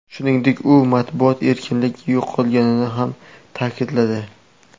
Shuningdek, u matbuot erkinligi yo‘qolganini ham ta’kidladi.